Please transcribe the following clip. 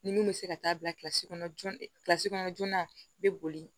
Ni mun bɛ se ka taa bilasira joonasi kɔnɔ joona i bɛ boli